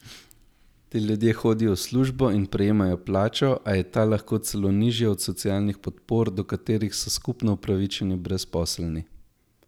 Ti ljudje hodijo v službo in prejemajo plačo, a je ta lahko celo nižja od socialnih podpor, do katerih so skupno upravičeni brezposelni.